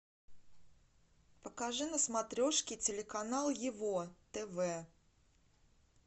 покажи на смотрешке телеканал его тв